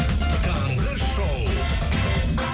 таңғы шоу